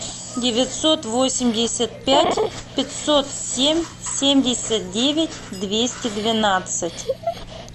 девятьсот восемьдесят пять пятьсот семь семьдесят девять двести двенадцать